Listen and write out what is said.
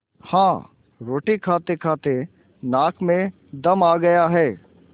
हाँ रोटी खातेखाते नाक में दम आ गया है